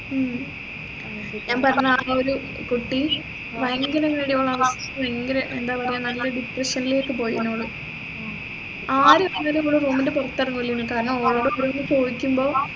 ഉം ഞാൻ പറഞ്ഞ ഒരു കുട്ടി ഭയങ്കര ഭയങ്കര എന്താ പറയാ നല്ല depression ലേക്ക് പോയിന് ഓള് ആരും room ൻറെ പുറത്തിറങ്ങൂല കാരണം ഓളോട് കൂടി ചോദിക്കുമ്പോ